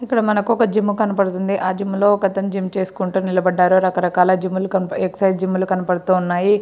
ఇక్కడ మనకు ఒక జిమ్ కనబడుతుంది. ఆ జిమ్ లో ఒకతను జిమ్ చేసుకొంటూ నిలబడ్డారు. రకరకాల జిమ్ లు ఎక్ససైజ్ జిమ్ లు కనబడతన్నాయి.